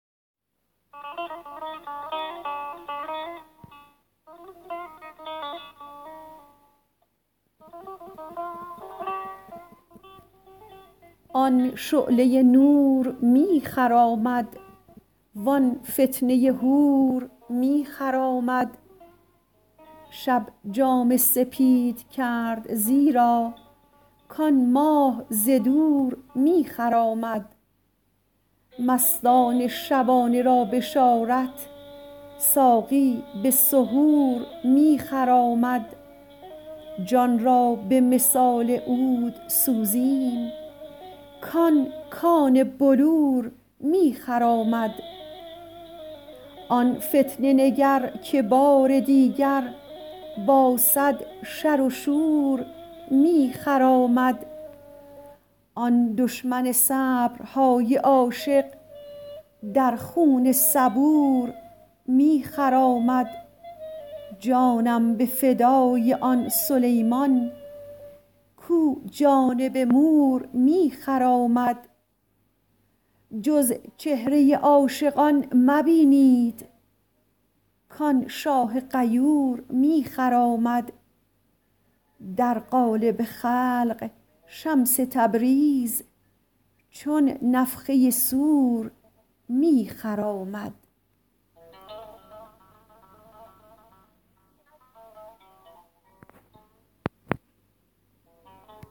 آن شعله نور می خرامد وان فتنه حور می خرامد شب جامه سپید کرد زیرا کان ماه ز دور می خرامد مستان شبانه را بشارت ساقی به سحور می خرامد جان را به مثال عود سوزیم کان کان بلور می خرامد آن فتنه نگر که بار دیگر با صد شر و شور می خرامد آن دشمن صبرهای عاشق در خون صبور می خرامد جانم به فدای آن سلیمان کو جانب مور می خرامد جز چهره عاشقان مبینید کان شاه غیور می خرامد در قالب خلق شمس تبریز چون نفخه صور می خرامد